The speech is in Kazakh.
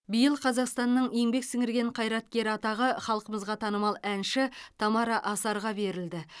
биыл қазақстанның еңбек сіңірген қайраткері атағы халқымызға танымал әнші тамара асарға берілді